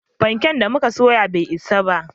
Fanke da muka soya bai isa ba